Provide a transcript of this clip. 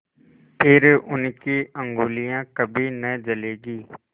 फिर उनकी उँगलियाँ कभी न जलेंगी